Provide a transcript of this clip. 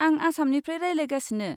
आं आसामनिफ्राय रायज्लायगासिनो।